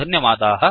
धन्यवादाः